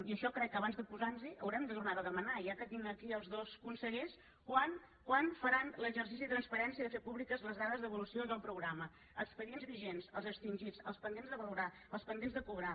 i això crec que abans de posar nos hi haurem de tornar ho a demanar ja que tinc aquí els dos consellers quan faran l’exercici de transparència de fer públiques les dades d’evolució del programa expedients vigents els extingits els pendents de valorar els pendents de cobrar